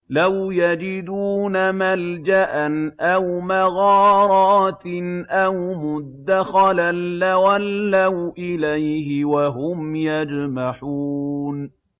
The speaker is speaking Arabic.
لَوْ يَجِدُونَ مَلْجَأً أَوْ مَغَارَاتٍ أَوْ مُدَّخَلًا لَّوَلَّوْا إِلَيْهِ وَهُمْ يَجْمَحُونَ